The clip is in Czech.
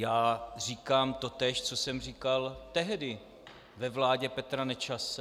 Já říkám totéž, co jsem říkal tehdy ve vládě Petra Nečase.